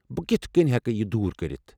بہٕ کتھہٕ کٔنۍ ہیكہٕ یہِ دوٗر كرِتھ ؟